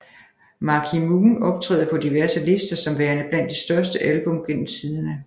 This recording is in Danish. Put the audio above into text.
Marquee Moon optræder på diverse lister som værende blandt de største album gennem tiderne